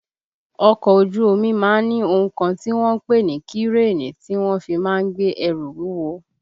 Ọkọ̀ ojú omi má ń ni ohun kan tí wọ́n ń pè ní kírènì tí wọ́n fi má ń gbé ẹrù wúwo